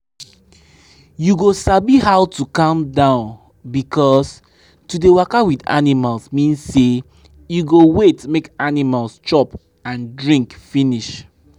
you go sabi how to calm down because to dey waka with animals mean say you go wait make animals chop and drink finish.